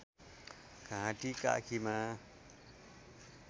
घाँटी काखीमा